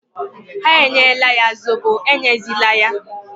Ha enyela ya Zobo, enyezila ya!